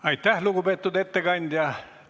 Aitäh, lugupeetud ettekandja!